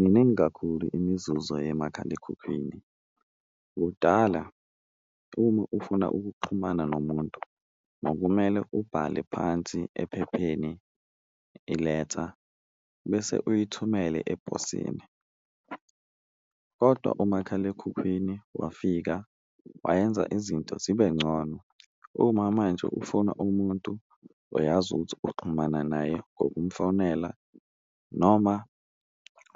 Miningi kakhulu imizuzu yemakhalekhukhwini kudala uma ufuna ukuxhumana nomuntu kwakumele ubhale phansi ephepheni iletha bese uyithumele eposini, kodwa umakhalekhukhwini wafika wayenza izinto zibe ngcono. Uma manje ufuna umuntu uyazi ukuthi uxhumana naye ngokumfonela noma